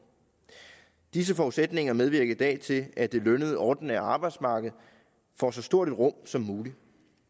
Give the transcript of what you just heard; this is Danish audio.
disse forudsætninger medvirker i dag til at det lønnede ordinære arbejdsmarked får så stort et rum som muligt